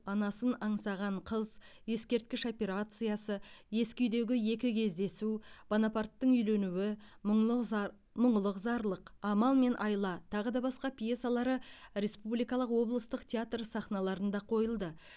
анасын аңсаған қыз ескерткіш операциясы ескі үйдегі екі кездесу бонапарттың үйленуі мұңлық зар мұңлық зарлық амал мен айла тағы да басқа пьесалары республикалық облыстық театр сахналарында қойылды